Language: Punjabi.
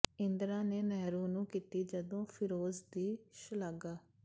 ਇੰਦਰਾ ਨੇ ਨਹਿਰੂ ਨੂੰ ਕੀਤੀ ਜਦੋਂ ਫਿਰੋਜ਼ ਦੀ ਸ਼ਲਾਘਾ